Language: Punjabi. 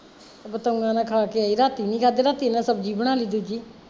ਬਤਾਊਆਂ ਨਾਲ਼ ਖਾ ਕੇ ਆਈ ਰਾਤੀ ਨੀ ਖਾਧੀ ਨਾ ਫੇਰ ਮੈਂ ਸਬਜ਼ੀ ਬਣਾਲੀ ਦੂਜੀ